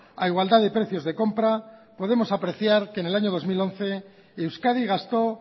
a igualdad de precios de compra podemos apreciar que en el año dos mil once euskadi gastó